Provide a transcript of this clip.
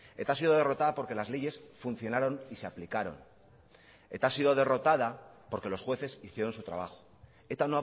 eta ha sido derrotada porque las leyes funcionaron y se aplicaron eta ha sido derrotada porque los jueces hicieron su trabajo eta